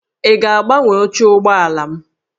Ị ga-agbanwe oche ụgbọala m?